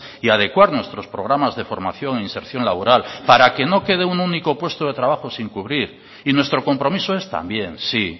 y adecuar nuestros programas de formación e inserción laboral para que no quede un único puesto de trabajo sin cubrir y nuestro compromiso es también sí